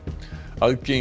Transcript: aðgengi